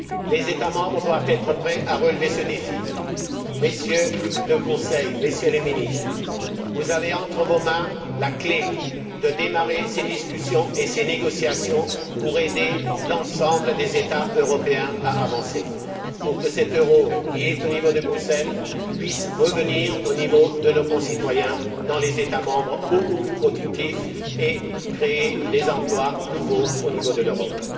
Les États membres doivent être prêts à relever ce défi. Monsieur le Président du Conseil, Messieurs les Ministres, vous avez entre vos mains la clé permettant de démarrer ces discussions et ces négociations pour aider l'ensemble des États européens à avancer, pour que cet euro qui est au niveau de Bruxelles puisse revenir au niveau de nos concitoyens dans les États membres beaucoup plus productif et créer des emplois nouveaux au niveau de l'Europe.